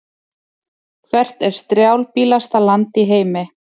Hvert er strjálbýlasta land í heimi?